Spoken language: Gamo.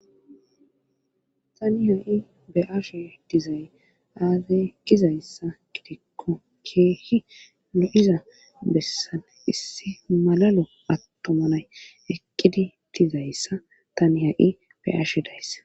tani ha'i be'ashe dizay aazey gizayssa gidikko keehi lo'iza bessan issi malalo attomanay eqqidi dizayssa tani ha'i be'ashe dayssa